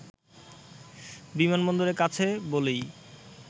বিমানবন্দরের কাছে বলেই